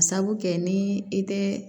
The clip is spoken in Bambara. Sabu kɛ ni i tɛ